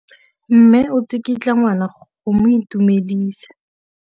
Mme o tsikitla ngwana go mo itumedisa.